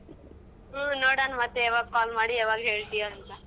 ಹ್ಮ್ ನೋಡೋಣ್ ಮತ್ತೆ ಯಾವಾಗ್ call ಮಾಡಿ ಯಾವಾಗ್ ಹೇಳ್ತೀಯಾಂತ.